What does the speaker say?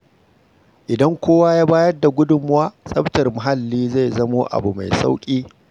Idan kowa ya ba da gudunmawa, tsaftar muhalli zai zama abu mai sauƙi.